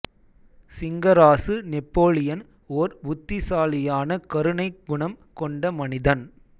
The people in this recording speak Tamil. சிங்கராசு நெப்போலியன் ஓர் புத்திசாலியான கருணை குணம் கொண்ட மனிதன்